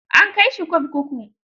An kai shi kurkuku?